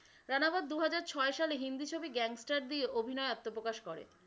রানাবত দুহাজার ছয় সালে হিন্দি ছবি গেঙ্গস্টার দিয়ে অভিনয়ে আত্মপ্রকাশ করে।